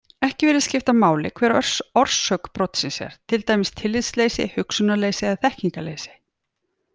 Ekki virðist skipta máli hver orsök brotsins er, til dæmis tillitsleysi, hugsunarleysi eða þekkingarleysi.